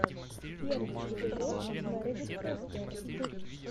первый эпизод мередит фостер